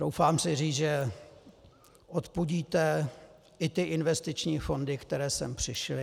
Troufám si říct, že odpudíte i ty investiční fondy, které sem přišly.